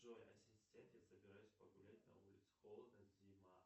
джой ассистент я собираюсь погулять на улице холодно зима